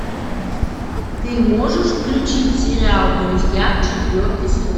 ты можешь включить сериал друзья четвертый сезон